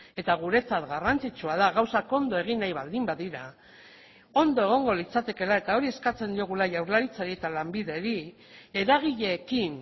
eta guretzat garrantzitsua da gauzak ondo egin nahi baldin badira ondo egongo litzatekeela eta hori eskatzen diogula jaurlaritzari eta lanbideri eragileekin